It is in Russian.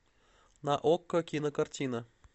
на окко кинокартина